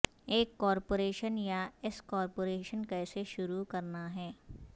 ایک کارپوریشن یا S corporation کیسے شروع کرنا ہے